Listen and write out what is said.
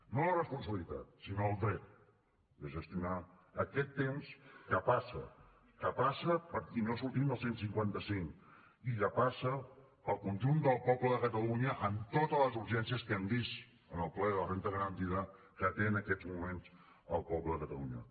no la responsabilitat sinó el dret de gestionar aquest temps que passa que passa i no sortim del cent i cinquanta cinc i que passa per al conjunt del poble de catalunya amb totes les urgències que hem vist en el ple de la renda garantida que té en aquests moments el poble de catalunya